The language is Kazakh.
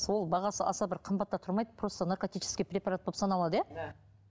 сол бағасы аса бір қымбат та тұрмайды просто наркотический препарат болып саналады иә да